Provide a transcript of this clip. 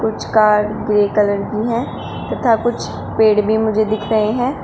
कुछ car grey colour की हैं तथा कुछ पेड़ भी मुझे दिख रहे हैं।